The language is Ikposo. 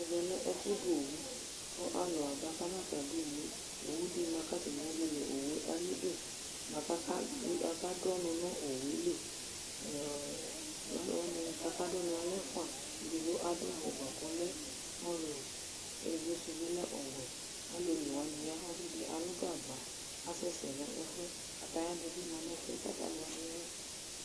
ɛmɛ lɛ ɛfʊ dʊ owu, kʊ alʊ aba kădʊ owu, owu dɩ ma kʊ atanɩ ezele ayidu, kʊ aka dʊ ɔnu nʊ owu yɛ li, alʊ ɛfua la kadʊ ɔnu yɛ edigbo adʊ awu muti vɛ ayʊ ulɔ, kʊ ɛfuanɩ yɛ ta adʊ awu wɛ, kʊ alʊ onewanɩ ya kʊ ɔsidɩ alʊ gagba, asɛ sɛ nʊ ɛfu yɛ, wohe dɩ bɩ lɛ nʊ ɛfʊ yɛ